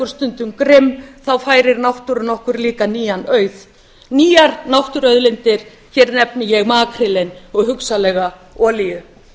stundum grimm færir náttúran ekki líka nýjan auð nýjar náttúruauðlindir hér nefni ég makrílinn og hugsanlega olíu